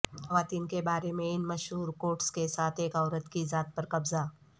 خواتین کے بارے میں ان مشہور کوٹس کے ساتھ ایک عورت کی ذات پر قبضہ